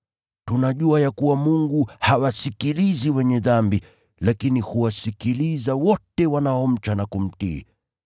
Tunajua ya kuwa Mungu hawasikilizi wenye dhambi, lakini huwasikiliza wote wanaomcha na kumtii.